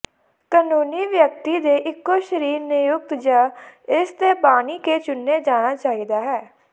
ਕਾਨੂੰਨੀ ਵਿਅਕਤੀ ਦੇ ਇਕੋ ਸਰੀਰ ਨਿਯੁਕਤ ਜ ਇਸ ਦੇ ਬਾਨੀ ਕੇ ਚੁਣੇ ਜਾਣਾ ਚਾਹੀਦਾ ਹੈ